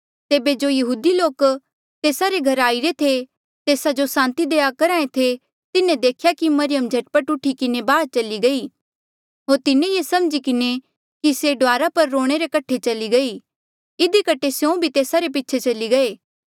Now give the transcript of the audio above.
तेबे जो यहूदी लोक तेस्सा रे घरा आईरे थे तेस्सा जो सांति देआ करहा ऐें थे तिन्हें देखेया कि मरियम झट पट उठी किन्हें बाहर चली गई होर तिन्हें ये समझी किन्हें कि से डुआर पर रोणे रे कठे चली गई इधी कठे स्यों भी तेस्सा रे पीछे चली गये